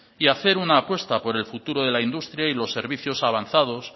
y hacer una apuesta por el futuro de la industria y los servicios avanzados